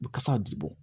Bu kasa bi bɔ